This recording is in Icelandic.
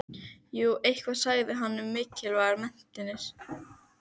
Einsog ást hennar á pabba Ísbjargar hyldjúp og umlykjandi.